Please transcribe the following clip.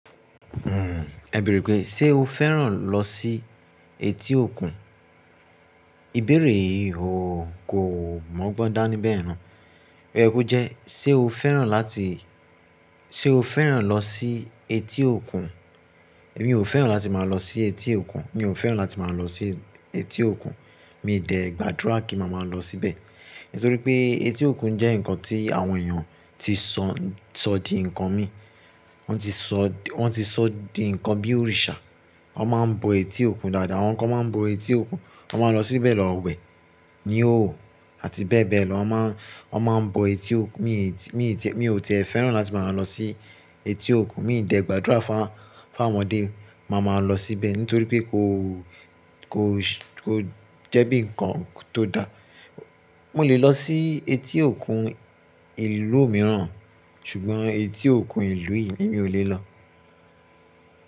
Hmm, ẹ bẹ̀rẹ̀ pé, ṣe o fẹ́ràn lọ sí etí òkun? Ìbéèrè yìí ò kó mọ́ gbọ́n dá ní bẹ̀ yẹn náà ó yẹ kó jẹ́, ṣe o fẹ́ràn láti, ṣe o fẹ́ràn lọ sí etí òkun? Èmi ò fẹ́ràn láti máa lọ sí etí òkun. Èmi ò fẹ́ràn láti máa lọ sí etí òkun. Mi dẹ̀ gbàdúrà kí màá máa lọ síbẹ̀. Nítorí pé etí òkun jẹ́ ǹkan tí àwọn èèyàn tí sọ, sọ di ǹkan mi. Wọ́n ti sọ, wọ́n ti sọ di ǹkan bí òrìṣà. Wọ́n máa ń bọ etí òkun dáadáa, àwọn kan máa ń bọ etí òkun, wọ́n máa lọ síbẹ̀ lọ wẹ̀, ni hoho, àti bẹ́ẹ̀ bẹ́ẹ̀ lọ. Wọ́n má, wọ́n máa ń bọ etí òkun. Mi, mi, ètí, mi ò tẹ fẹ́ràn láti máa lọ sí etí òkun. Mi dẹ̀ gbàdúrà fún, fún àwọn ọmọdé máa máa lọ síbẹ̀, nítorí pé kò, kò, kò jẹ́ bí ǹkan tó dá. Mo lè lọ sí etí òkun ìlú mìíràn, ṣùgbọ́n etí òkun ìlú yìí èmi ò lè lọ.